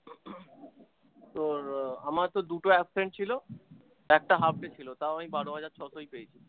তোর আমার তো দুটো absent ছিল একটা half day ছিল তাও আমি বারো হাজার ছশই পেয়েছি।